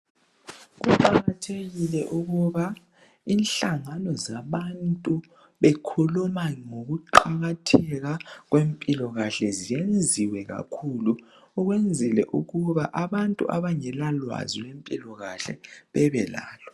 Kuqakathekile ukuba inhlangano zabantu bekhuluma ngokuqakatheka kwempila kahle zenziwe kakhulu ukwenzela ukuba abantu abangela lwazi lweze mpilakahle babe lalo